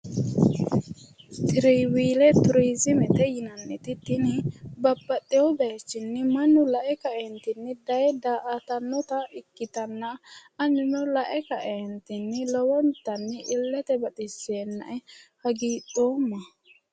Traveele turiziimete yiannaniti tini babbaxxeyo bayiichinni mannu la'e ka'entinni daye daa"atanota ikkitanna anino la'e ka'eentinni lowontanni illete baxisseenna'e hagidhoomma.